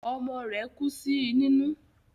Ọmọ rẹ̀ kú sí nínú